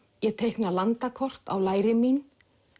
ég teikna landakort á læri mín